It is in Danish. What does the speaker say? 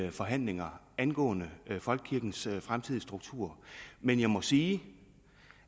i forhandlinger angående folkekirkens fremtidige struktur men jeg må sige